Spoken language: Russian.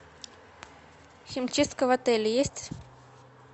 химчистка в отеле есть